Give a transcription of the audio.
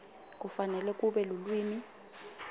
kufanele kube lulwimi